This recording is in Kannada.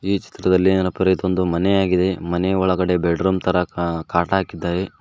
ಈ ಚಿತ್ರದಲ್ಲಿ ಏನಪ್ಪಾ ಇದೊಂದು ಮನೆ ಆಗಿದೆ ಮನೆ ಒಳಗಡೆ ಬೆಡ್ರೂಮ್ ತರಾ ಕಾ ಕಾಟ್ ಹಾಕಿದ್ದಾರೆ.